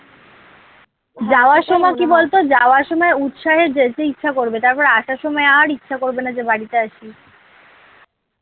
যাওয়ার সময় কী বলতো যাওয়ার সময় উৎসাহে যেতে ইচ্ছা করবে তারপর আসার সময় আর ইচ্ছা করবে না যে বাড়িতে আসি